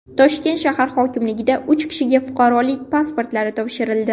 Toshkent shahar hokimligida uch kishiga fuqarolik pasportlari topshirildi.